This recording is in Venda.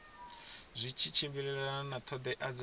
zwi tshimbilelana na ṱhoḓea dza